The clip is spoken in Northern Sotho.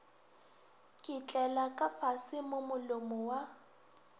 ketlela kafase mo molomo wa